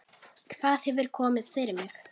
Hvað hefur komið fyrir mig?